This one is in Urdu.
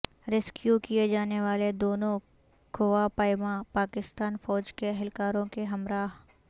ریسکیو کیے جانے والے دونوں کوہ پیما پاکستانی فوج کے اہلکاروں کے ہمراہ